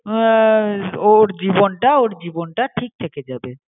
উয়া ওর জীবনটা ওর জীবনটা ঠিক থেকে যাবে.